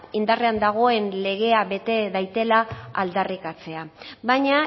indarrean dagoen legea bete dadila aldarrikatzea baina